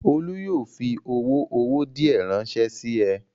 Olú yóò fi owó owó díẹ̀ ránṣẹ́ sí ẹ!